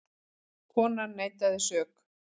Konan neitaði sök.